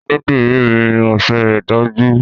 Onídìrí mi mọṣẹ́ rẹ̀ dájú.